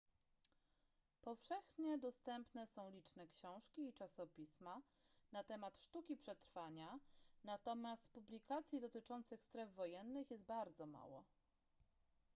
powszechnie dostępne są liczne książki i czasopisma na temat sztuki przetrwania natomiast publikacji dotyczących stref wojennych jest bardzo mało